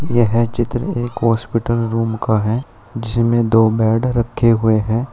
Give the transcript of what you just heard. यह चित्र एक हॉस्पिटल रूम का है जिसमें दो बेड रखे हुए हैं।